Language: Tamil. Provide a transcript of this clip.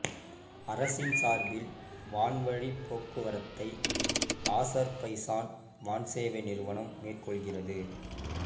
அரசின் சார்பில் வான்வழிப் போக்குவரத்தை ஆசர்பைசான் வான்சேவை நிறுவனம் மேற்கொள்கிறது